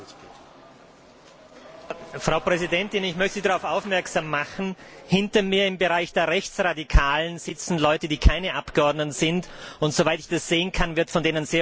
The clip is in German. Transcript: Frau Präsidentin, ich möchte Sie auf Folgendes aufmerksam machen Hinter mir, im Bereich der Rechtsradikalen, sitzen Leute, die keine Abgeordneten sind, und soweit ich das sehen kann, wird von denen sehr wohl auch die Stimmkarte betätigt.